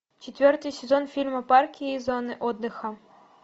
четвертый сезон фильма парки и зоны отдыха